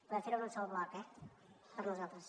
podem fer ho en un sol bloc eh per nosaltres